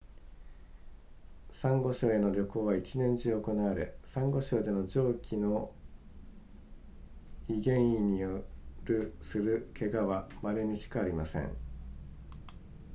サンゴ礁への旅行は一年中行われサンゴ礁での上記のい原因によるする怪我は稀にしかありません